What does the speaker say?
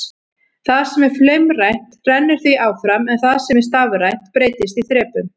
Það sem er flaumrænt rennur því áfram en það sem er stafrænt breytist í þrepum.